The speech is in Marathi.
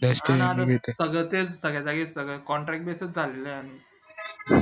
हा ना तेच सध्या तेच सगळ्या जागेवर सगळं contract base च चालेल आहे